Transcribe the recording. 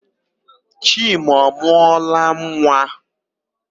Chima ọ mụọla nwa?